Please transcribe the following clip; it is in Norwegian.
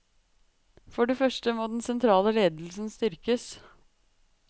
For det første må den sentrale ledelsen styrkes.